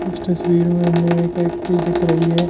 इस तस्वीर में एक एक दिख रही है।